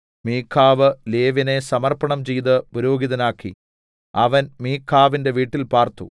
മീഖാവ് ലേവ്യനെ സമർപ്പണം ചെയ്ത് പുരോഹിതനാക്കി അവൻ മീഖാവിന്റെ വീട്ടിൽ പാർത്തു